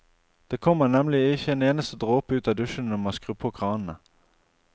Det kommer nemlig ikke en eneste dråpe ut av dusjene når man skrur på kranene.